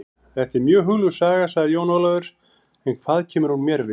Þetta er mjög hugljúf saga, sagði Jón Ólafur, en hvað kemur hún mér við?